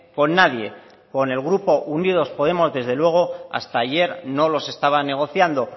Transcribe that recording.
con nadie con el grupo unidos podemos desde luego hasta ayer no los estaba negociando